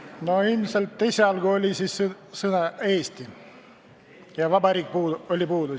No ilmselt oli seal esialgu ainult sõna "Eesti" ja sõna "Vabariik" oli puudu.